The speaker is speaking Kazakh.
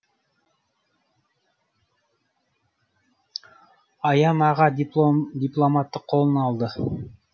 аян аға дипломатты қолына алды